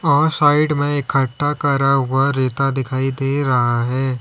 और साइड में इकट्ठा कर हुआ रेता दिखाई दे रहा है।